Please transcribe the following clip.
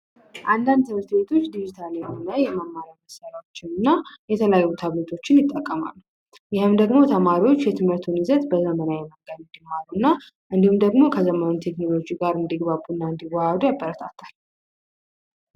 አንዳንድ ትምህርት ቤቶች ዲጂታል እና የመማሪያ ቁሳቁሶችን እና የተለያዩ ታብሌቶችን ይጠቀማሉ እና ተማሪዎች የትምህርቱን ይዘት በዘመናዊ መንገድ እንዲማሩ እንዲሁም ደግሞ ከዘመኑ ቴክኖሎጂ ጋር እንዲገባቡ እና እንዲዋሃዱ ያበረታታል።